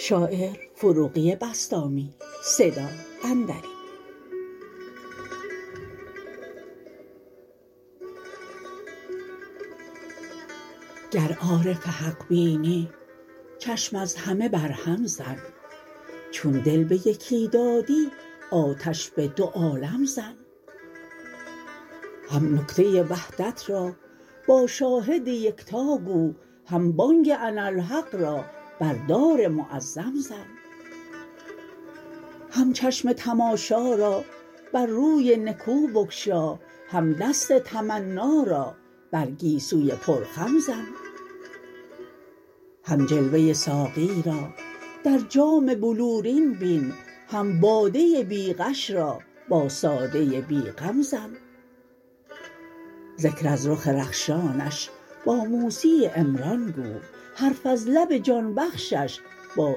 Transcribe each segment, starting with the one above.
گر عارف حق بینی چشم از همه بر هم زن چون دل به یکی دادی آتش به دو عالم زن هم نکته وحدت را با شاهد یکتاگو هم بانگ اناالحق را بر دار معظم زن هم چشم تماشا را بر روی نکو بگشا هم دست تمنا را بر گیسوی پر خم زن هم جلوه ساقی را در جام بلورین بین هم باده بی غش را با ساده بی غم زن ذکر از رخ رخشانش با موسی عمران گو حرف از لب جان بخشش با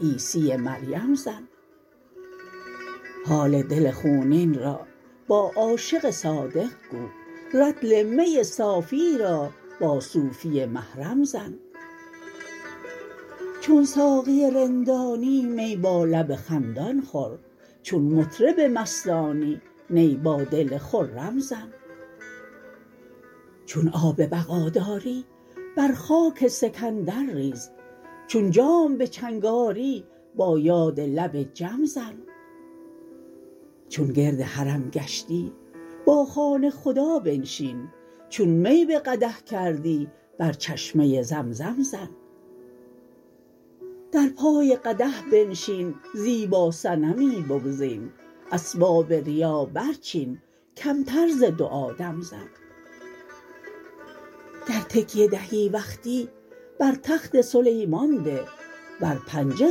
عیسی مریم زن حال دل خونین را با عاشق صادق گو رطل می صافی را با صوفی محرم زن چون ساقی رندانی می با لب خندان خور چون مطرب مستانی نی با دل خرم زن چون آب بقا داری بر خاک سکندر ریز چون جام به چنگ آری با یاد لب جم زن چون گرد حرم گشتی با خانه خدا بنشین چون می به قدح کردی بر چشمه زمزم زن در پای قدح بنشین زیبا صنمی بگزین اسباب ریا برچین کمتر ز دعا دم زن گر تکیه دهی وقتی بر تخت سلیمان ده ور پنجه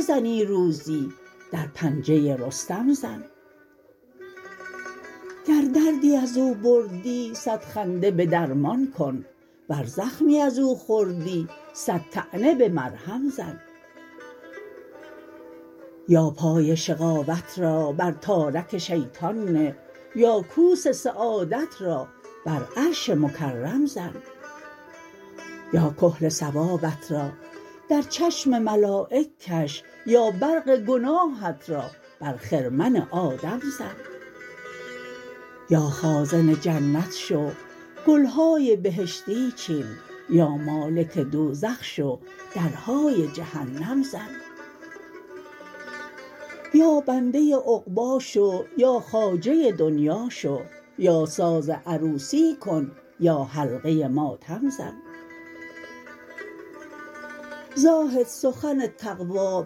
زنی روزی در پنجه رستم زن گر دردی از او بردی صد خنده به درمان کن ور زخمی از او خوردی صد طعنه به مرهم زن یا پای شقاوت را بر تارک شیطان نه یا کوس سعادت را بر عرش مکرم زن یا کحل ثوابت را در چشم ملایک کش یا برق گناهت را بر خرمن آدم زن یا خازن جنت شو گلهای بهشتی چین یا مالک دوزخ شو درهای جهنم زن یا بنده عقبا شو یا خواجه دنیا شو یا ساز عروسی کن یا حلقه ماتم زن زاهد سخن تقوی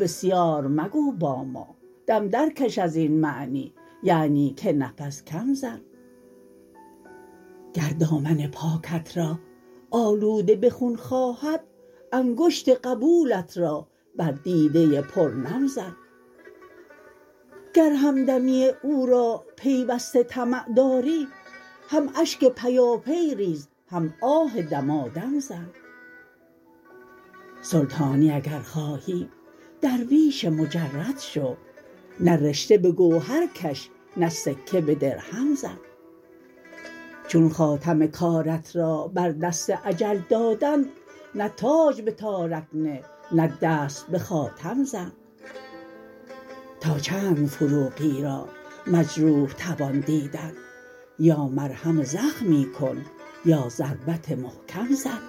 بسیار مگو با ما دم درکش از این معنی یعنی که نفس کم زن گر دامن پاکت را آلوده به خون خواهد انگشت قبولت را بر دیده پر نم زن گر همدمی او را پیوسته طمع داری هم اشک پیاپی ریز هم آه دمادم زن سلطانی اگر خواهی درویش مجرد شو نه رشته به گوهر کش نه سکه به درهم زن چون خاتم کارت را بر دست اجل دادند نه تاج به تارک نه نه دست به خاتم زن تا چند فروغی را مجروح توان دیدن یا مرهم زخمی کن یا ضربت محکم زن